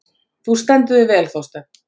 Þú stendur þig vel, Þorsteinn!